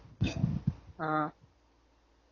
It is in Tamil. ஆஹ்